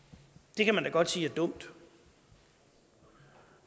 det kan man da godt sige er dumt